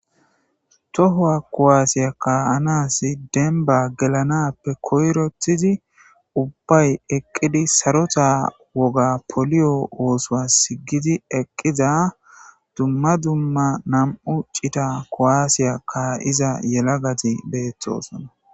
Tohowa kowaasiya ka anasi denba gelanappe koyrothizi ubbay eqqidi sarota woga poliyo oosoa sigidi eqqiza dumma dumma nam7u ccita kowaasiya ka7iza yela gati beeththosona